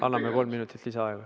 Anname kolm minutit lisaaega.